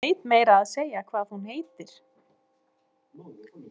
Ég veit meira að segja hvað hún heitir.